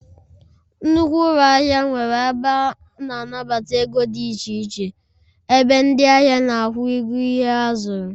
Nnukwu ụlọ ahịa nwere ebe ana anata ego dị iche iche, ebe ndị ahịa na-akwụ ụgwọ ihe ha zuru